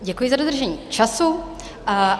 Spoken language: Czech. Děkuji za dodržení času.